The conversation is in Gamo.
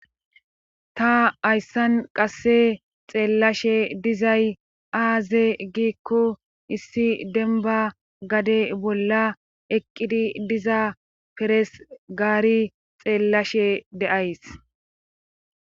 Ta hayssan qasse xeellashe dizay aaze giikko issi denba gade bolla eqqidi diza peres gaari xeellashe deays.